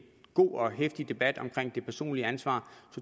god og heftig debat om det personlige ansvar